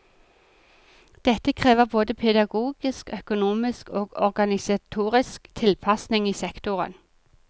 Dette krever både pedagogisk, økonomisk og organisatorisk tilpasning i sektoren.